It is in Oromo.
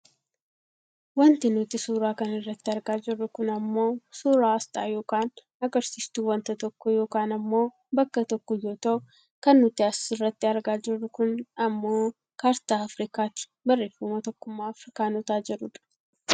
Wanti nuti suuraa kanarratti argaa jirru kun ammoo suuraa aasxaa yookaan agarsiistuu wanta tokko yookaan ammoo bakka tokkoo yoo ta'u kan nuti asirratti argaa jirru kun ammoo kaartaa aafrikaati barreefama Tokkummaa Aafrikaanota jedhudha.